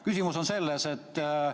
Küsimus on selline.